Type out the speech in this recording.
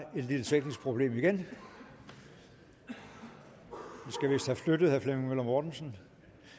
et lille teknisk problem igen vi skal vist have flyttet herre flemming møller mortensen